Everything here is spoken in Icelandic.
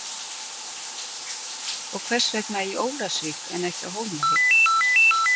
Og hvers vegna í Ólafsvík en á Hólmavík?